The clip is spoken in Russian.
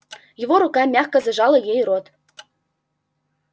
его рука мягко зажала ей рот